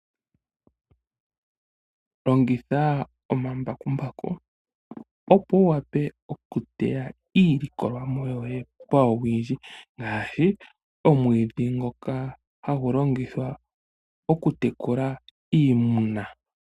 Longitha omambakumbaku opo wu wape okuteya iilikolomwa yoye pawuwindji ngaashi omwiidhi ngoka hagu longithwa okutekula iimuna